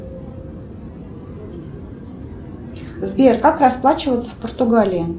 сбер как расплачиваться в португалии